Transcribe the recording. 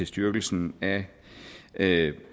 styrkelsen af